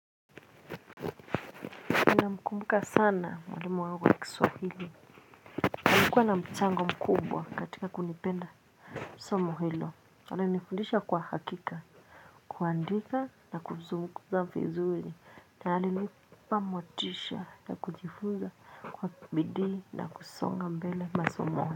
Namkumbuka sana mwalimu wangu wa kiswahili. Nilikuwa na mchango mkubwa katika kunipenda. Somo hilo. Alinifundisha kwa hakika. Kuandika na kuzungumza vizuri. Na alinipa motisha na kujifunza kwa bidii na kusonga mbele masomoni.